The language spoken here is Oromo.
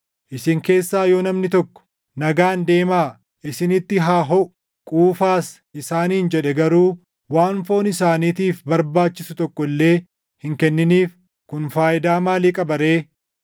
Isin keessaa yoo namni tokko, “Nagaan deemaa; isinitti haa hoʼu; quufaas” isaaniin jedhee garuu waan foon isaaniitiif barbaachisu tokko illee hin kenniniif, kun faayidaa maalii qaba ree?